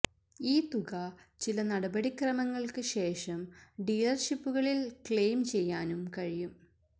ഈ തുക ചില നടപടിക്രമങ്ങൾക്ക് ശേഷം ഡീലർഷിപ്പുകളിൽ ക്ലെയിം ചെയ്യാനും കഴിയും